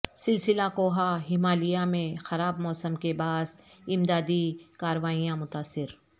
سلسلہ کوہ ہمالیہ میں خراب موسم کے باعث امدادی کارروائیاں متاثر